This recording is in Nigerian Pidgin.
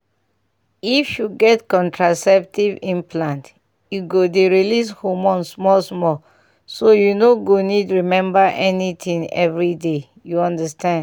if you get contraceptive implant e go dey release hormone small-small so you no go need remember anything every day — you understand.